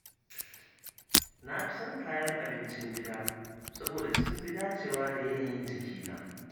Na fi son kayan abincin gida saboda sun fi dacewa da yanayin jikina.